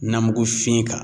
Namugufin kan